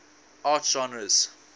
art genres